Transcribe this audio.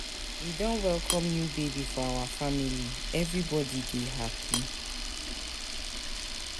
We don welcome new baby for our family, everybody dey happy.